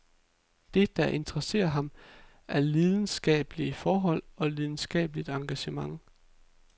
Det, der interesserer ham, er lidenskabelige forhold og lidenskabeligt engagement.